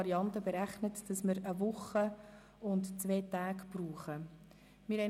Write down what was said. Sie haben berechnet, dass wir eine Woche und zwei Tage für diese Restanz brauchen werden.